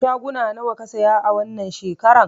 Shaguna nawa ka saya wannan shekaran?